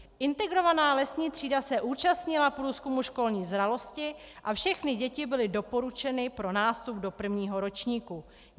Integrovaná lesní třída se účastnila průzkumu školní zralosti a všechny děti byly doporučeny pro nástup do prvního ročníku.